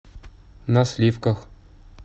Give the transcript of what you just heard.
на сливках